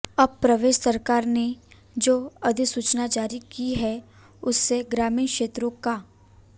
अब प्रदेश सरकार ने जो अधिसूचना जारी की है उससे ग्रामीण क्षेत्रों का